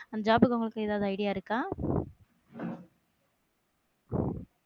அந்த job க்கு உங்களுக்கு ஏதாவது idea இருக்கா?